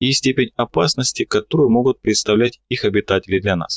степень опасности которые могут представлять их обитатели для нас